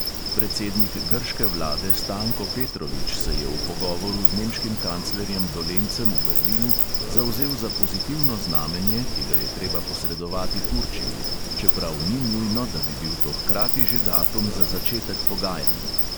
Predsednik grške vlade stanko petrovič se je v pogovoru z nemškim kanclerjem dolencem v berlinu zavzel za pozitivno znamenje, ki ga je treba posredovati turčiji, čeprav ni nujno, da bi bil to hkrati že datum za začetek pogajanj.